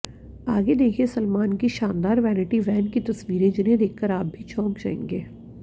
आगे देखें सलमान की शानदार वैनिटी वैन की तस्वीरें जिन्हें देखकर आप भी चौंक जाएंगे